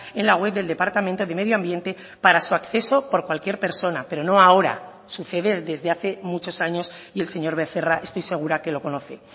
en la web del departamento de medio ambiente para su acceso por cualquier persona pero no ahora sucede desde hace muchos años y el señor becerra estoy segura que lo conoce